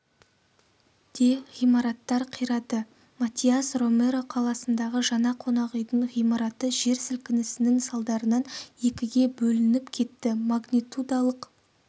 де ғимараттар қирады матиас-ромеро қаласындағы жаңа қонақүйдің ғимараты жер сілкінісінің салдарынан екіге бөлініп кетті магнитудалық